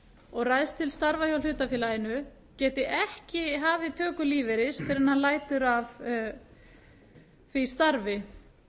og ræðst til starfa hjá hlutafélaginu geti ekki hafið töku lífeyris fyrr en hann lætur af því starfi